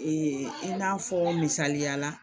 i n'a fɔ misaliya la